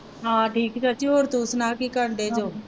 ਹਾਂ ਠੀਕ ਚਾਚੀ। ਹੋਰ ਤੂੰ ਸੁਣਾ ਕੀ ਕਰਨ ਡੇ ਜੋ?